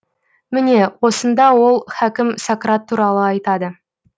міне осында ол хакім сократ туралы айтады